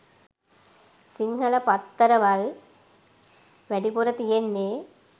සිංහල පත්තරවල් වැඩිපුර තියෙන්නේ